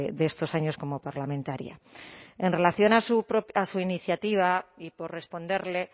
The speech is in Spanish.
de estos años como parlamentaria en relación a su iniciativa y por responderle